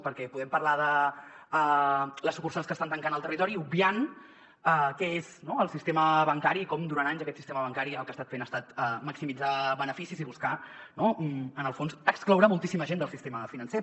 perquè podem parlar de les sucursals que estan tancant al territori obviant què és no el sistema bancari i com durant anys aquest sistema bancari el que ha estat fent ha estat maximitzar beneficis i buscar en el fons excloure moltíssima gent del sistema financer